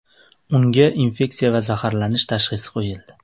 Unga infeksiya va zaharlanish tashxisi qo‘yildi.